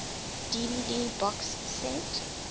dvd box set